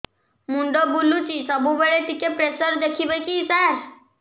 ମୁଣ୍ଡ ବୁଲୁଚି ସବୁବେଳେ ଟିକେ ପ୍ରେସର ଦେଖିବେ କି ସାର